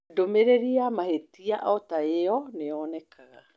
Ndũmĩrĩri ya mahĩtia o ta ĩyo nĩ yonekaga